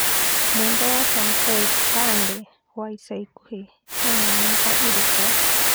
mwendwa wa Sanapei Tande wa ica ĩkuhĩ ena miaka ĩrĩkũ